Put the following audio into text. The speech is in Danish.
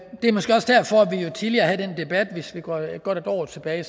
tidligere havde den debat hvis vi går godt et år tilbage